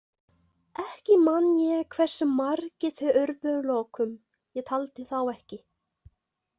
Ekki man ég hversu margir þeir urðu að lokum, ég taldi þá ekki.